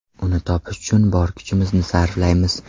Uni topish uchun bor kuchimizni sarflaymiz.